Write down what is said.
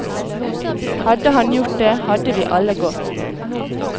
Hadde han gjort det, hadde vi alle gått.